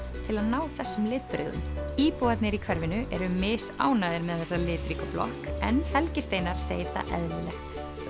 til að ná þessum litbrigðum íbúarnir í hverfinu eru misánægðir með þessa litríku blokk en Helgi Steinar segir það eðlilegt